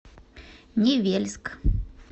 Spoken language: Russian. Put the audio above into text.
невельск